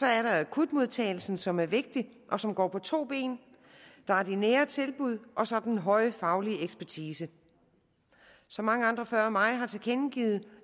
er der akutmodtagelsen som er vigtig og som går på to ben der er de nære tilbud og så den høje faglige ekspertise som mange andre før mig har tilkendegivet er